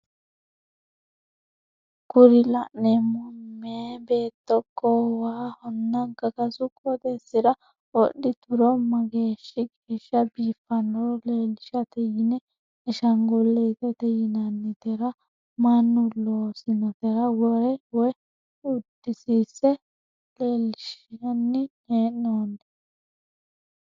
Kuri la'neemo meya beetto goowahonna gagasu qooxeesira wodhituro mageeshi geeshsha biifannoro leelishate yine ashanguliitete yinannitera mannu loosinotera wore woye udisiinse leellinshanni he'noonni.